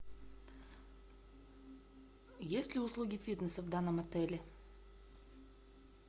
есть ли услуги фитнеса в данном отеле